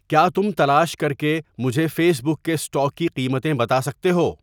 کیا تم تلاش کر کے مجھے فیس بک کے اسٹاک کی قیمتیں بتا سکتے ہو